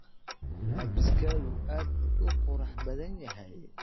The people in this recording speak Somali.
Labbiskaagu aad buu u qurux badan yahay.